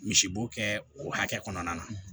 Misi bo kɛ o hakɛ kɔnɔna na